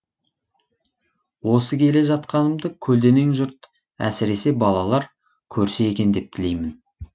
осы келе жатқанымды көлденең жұрт әсіресе балалар көрсе екен деп тілеймін